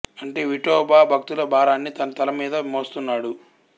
అంటే విఠోబా భక్తుల భారాన్ని తన తల మీద మోస్తున్నాడు